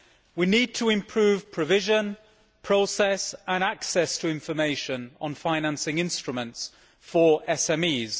We need to improve provision, process and access to information on financing instruments for SMEs.